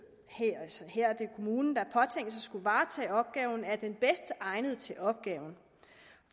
her altså kommunen der påtænkes at skulle varetage opgaven er den bedst egnede til opgaven